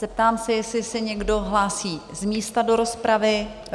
Zeptám se, jestli se někdo hlásí z místa do rozpravy?